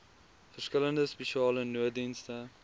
verskillende spesiale nooddienste